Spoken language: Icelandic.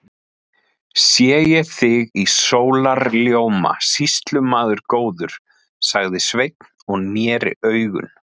Sé ég þig í sólarljóma, sýslumaður góður, sagði Sveinn og neri augun.